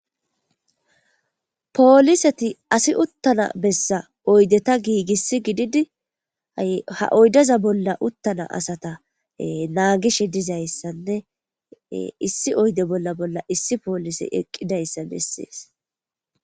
pooliseti asi uttana bessa oydeta giigis gididia ha oydaza bolla uttana asata naagishe dizayssanne issi oyde bolla bolla issi poolise eqqidayssa bessees